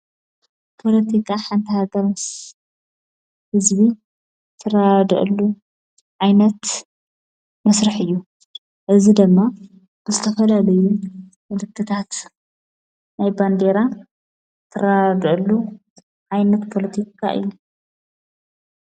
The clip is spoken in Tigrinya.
ጶሎቲካ ሓንተ ሃገር ምስ ሕዝቢ ተራድዕሉ ኣይነት መሳርሕ እዩ። እዝ ደማ ብዝተፈልለየ ምልክታት ናይ በንዴራ ተራድዕሉ ዓይነት ጶሎቲካ እዩ።